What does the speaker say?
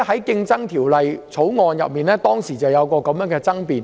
《競爭條例草案》委員會當時曾出現這樣的爭辯。